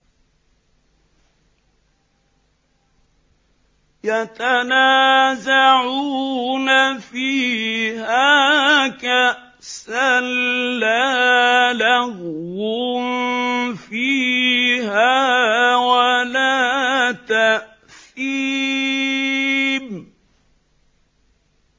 يَتَنَازَعُونَ فِيهَا كَأْسًا لَّا لَغْوٌ فِيهَا وَلَا تَأْثِيمٌ